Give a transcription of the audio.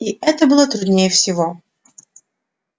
и это было труднее всего